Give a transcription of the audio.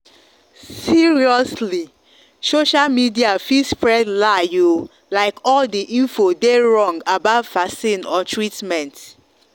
seriously social media fit spread lie olike all the info dey wrong about vaccine or treatment.